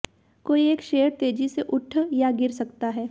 कोई एक शेयर तेजी से उठ या गिर सकता है